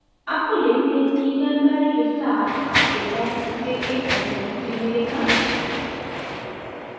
आपको लेनदेन की जानकारी के साथ आपके बैंक से एक sms भी मिलेगा